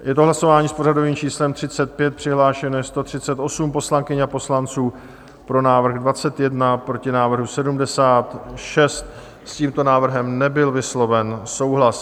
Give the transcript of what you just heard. Je to hlasování s pořadovým číslem 35, přihlášeno je 138 poslankyň a poslanců, pro návrh 21, proti návrhu 76, s tímto návrhem nebyl vysloven souhlas.